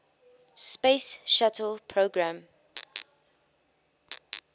space shuttle program